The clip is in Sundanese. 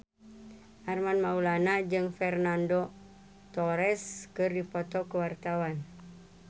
Armand Maulana jeung Fernando Torres keur dipoto ku wartawan